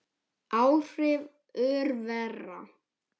Áhrif örvera